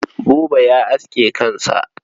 Buba ya aske kansa.